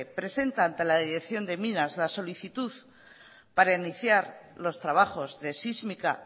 presenta ante la dirección de minas la solicitud para iniciar los trabajos de sísmica